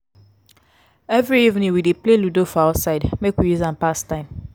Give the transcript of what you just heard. every evening we dey play ludo for outside make we use am pass time.